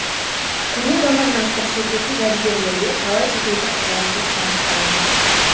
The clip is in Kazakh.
көне заманнан сыр шертетін жәдігерлерге талай шетелдік қызығушылық танытқан